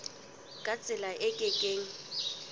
ka tsela e ke keng